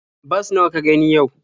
Bas nawa ka gani yau?